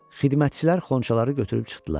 Xidmətçilər xonçaları götürüb çıxdılar.